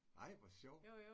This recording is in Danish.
Ej hvor sjovt